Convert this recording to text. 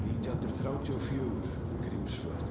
nítján hundruð þrjátíu og fjögur Grímsvötn